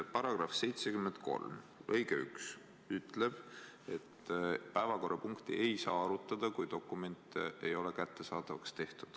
Paragrahvi 73 lõige 1 ütleb, et päevakorrapunkti ei saa arutada, kui dokumente ei ole kättesaadavaks tehtud.